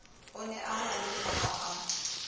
o ne a halefa ha